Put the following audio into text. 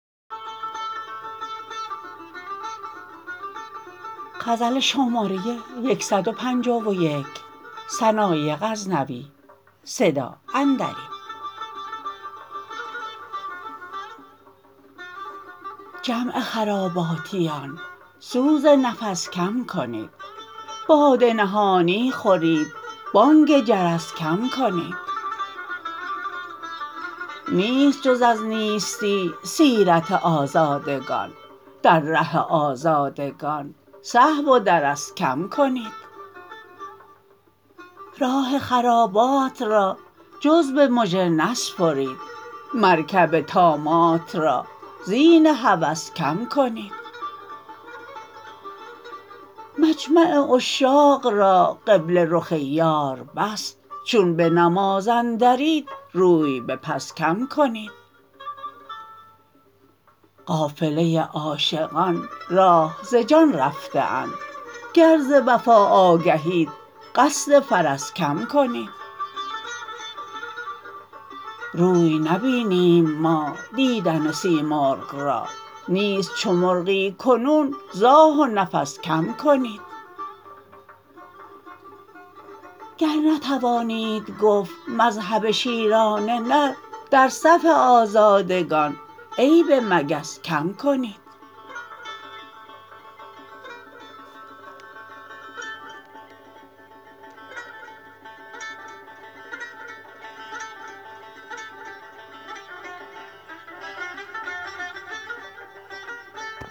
جمع خراباتیان سوز نفس کم کنید باده نهانی خورید بانگ جرس کم کنید نیست جز از نیستی سیرت آزادگان در ره آزادگان صحو و درس کم کنید راه خرابات را جز به مژه نسپرید مرکب طامات را زین هوس کم کنید مجمع عشاق را قبله رخ یار بس چون به نماز-اندرید روی به پس کم کنید قافله عاشقان راه ز جان رفته اند گر ز وفا آگهید قصد فرس کم کنید روی نبینیم ما دیدن سیمرغ را نیست چو مرغی کنون ز آه و نفس کم کنید گر نتوانید گفت مذهب شیران نر در صف آزادگان عیب مگس کم کنید